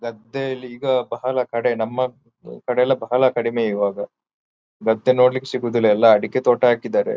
ಗದ್ದೆ ಇಲ್ಲಿ ಈಗ ಬಹಳ ಕಡೆ ನಮ್ಮ ಕಡೆ ಎಲ್ಲ ಬಹಳ ಕಡಿಮೆ ಇವಾಗ ಗದ್ದೆ ನೋಡ್ಲಿಕ್ಕೆ ಸಿಗುವುದಿಲ್ಲ ಎಲ್ಲ ಅಡಿಕೆ ತೋಟ ಹಾಕಿದ್ದಾರೆ.